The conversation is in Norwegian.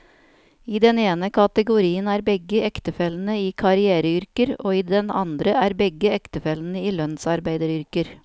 I den ene kategorien er begge ektefellene i karriereyrker, og i den andre er begge ektefellene i lønnsarbeideryrker.